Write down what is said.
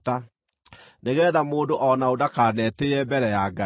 nĩgeetha mũndũ o na ũ ndakanetĩĩe mbere ya Ngai.